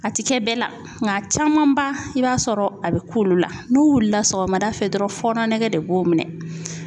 A ti kɛ bɛɛ la ŋ'a camanba i b'a sɔrɔ a be k'olu la. N'u wulila sɔgɔmada fɛ dɔrɔn fɔnɔ nege de b'o minɛ.